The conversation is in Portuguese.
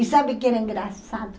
E sabe o que era engraçado?